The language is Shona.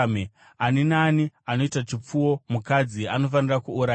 “Ani naani anoita chipfuwo mukadzi anofanira kuurayiwa.